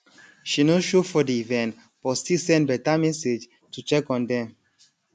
she no show for the event but still send better message to check on dem